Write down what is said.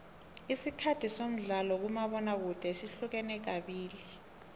isikhathi somdlalo kamabona kude sihlukene kabili